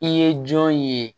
I ye jɔn ye